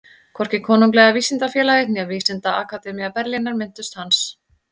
Hvorki Konunglega vísindafélagið né Vísindaakademía Berlínar minntust hans.